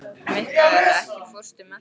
Mikkael, ekki fórstu með þeim?